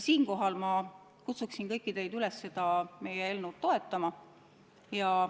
Siinkohal ma kutsungi kõiki teid üles seda meie eelnõu toetama.